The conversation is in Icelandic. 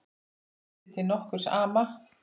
Vísi til nokkurs ama.